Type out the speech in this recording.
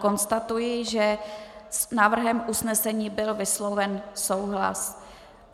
Konstatuji, že s návrhem usnesení byl vysloven souhlas.